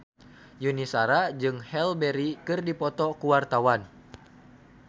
Yuni Shara jeung Halle Berry keur dipoto ku wartawan